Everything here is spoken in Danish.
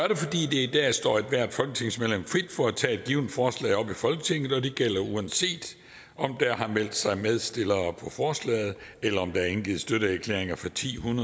i dag står ethvert folketingsmedlem frit for at tage et givent forslag op i folketinget og det gælder uanset om der har meldt sig medstillere på forslaget eller om der er indgivet støtteerklæringer fra titusind